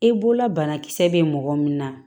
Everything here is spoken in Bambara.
I bolola banakisɛ bɛ mɔgɔ min na